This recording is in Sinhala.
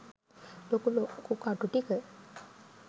ලොකු ලොකු කටු ටික